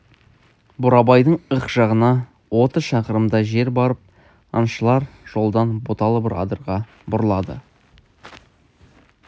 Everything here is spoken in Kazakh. бурабайдың ық жағына отыз шақырымдай жер барып аңшылар жолдан бұталы бір адырға бұрылады